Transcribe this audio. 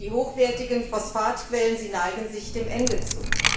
Und die hochwertigen Phosphatquellen neigen sich dem Ende zu.